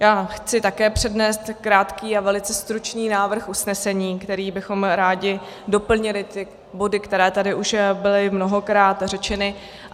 Já chci také přednést krátký a velice stručný návrh usnesení, kterým bychom rádi doplnili ty body, které tady už byly mnohokrát řečeny.